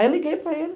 Aí eu liguei para ele.